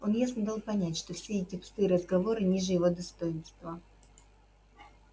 он ясно дал понять что все эти пустые разговоры ниже его достоинства